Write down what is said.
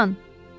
Loran!